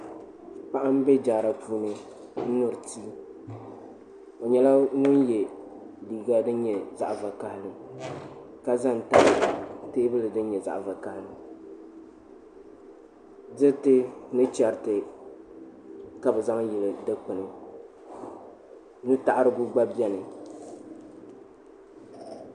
Paɣa n ʒɛ jaara puuni n nyuri tii o nyɛla ŋun yɛ liiga din nyɛ zaɣ vakaɣalilka ʒɛ n tabi teebuli din nyɛ zaɣ vakaɣali diriti ni chɛriti ka bi zaŋ yili dikpuni nutaɣarigu gba biɛni